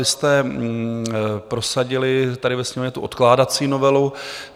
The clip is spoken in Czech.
Vy jste prosadili tady ve Sněmovně tu odkládací novelu.